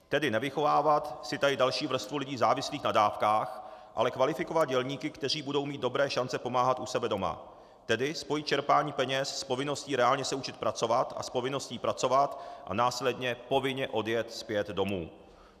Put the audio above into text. Tedy nevychovávat si tady další vrstvu lidí závislých na dávkách, ale kvalifikovat dělníky, kteří budou mít dobré šance pomáhat u sebe doma, tedy spojit čerpání peněz s povinností reálně se učit pracovat a s povinností pracovat a následně povinně odjet zpět domů.